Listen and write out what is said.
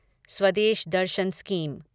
Swadesh Darshan scheme